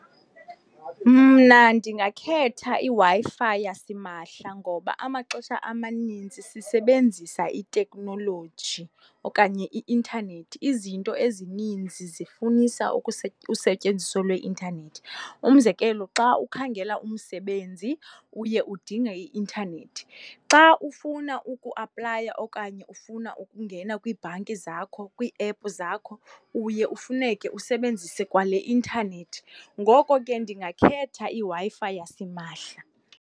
Mna ndingakhetha iWi-Fi yasimahla ngoba amaxesha amanintsi sisebenzisa iteknoloji okanye i-intanethi, izinto ezininzi zifunisa usetyenziso lweintanethi, umzekelo xa ukhangela umsebenzi uye udinge i-intanethi. Xa ufuna ukuaplaya okanye ufuna ukungena kwiibhanki zakho, kwiiepu zakho uye ufuneke usebenzise kwale intanethi. Ngoko ke ndingakhetha iWi-Fi yasimahla.